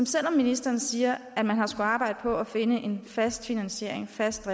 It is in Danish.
selv om ministeren siger at man har arbejde på at finde en fast finansiering fast